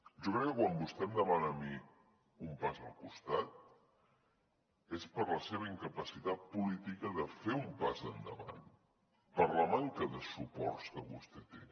jo crec que quan vostè em demana a mi un pas al costat és per la seva incapacitat política de fer un pas endavant per la manca de suports que vostè té